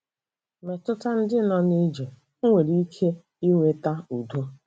Mmetụta ndị nọ n'ije o nwere ike iweta udo?